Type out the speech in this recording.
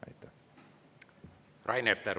Rain Epler, palun!